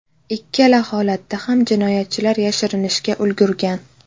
Ikkala holatda ham jinoyatchilar yashirinishga ulgurgan.